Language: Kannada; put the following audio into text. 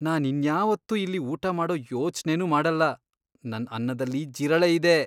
ನಾನ್ ಇನ್ಯಾವತ್ತೂ ಇಲ್ಲಿ ಊಟ ಮಾಡೋ ಯೋಚ್ನೆನೂ ಮಾಡಲ್ಲ, ನನ್ ಅನ್ನದಲ್ಲಿ ಜಿರಳೆ ಇದೆ!